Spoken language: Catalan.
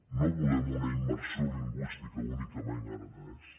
no volem una immersió lingüística únicament en aranès